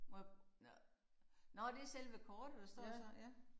Må jeg nåh nåh det selve kortet der står så ja